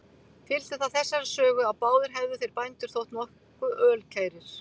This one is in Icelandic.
Fylgdi það þessari sögu, að báðir hefðu þeir bændur þótt nokkuð ölkærir.